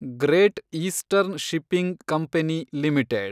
great Eastern Shipping Company limited